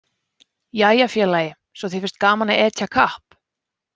Jæja félagi, svo þér finnst gaman að etja kapp?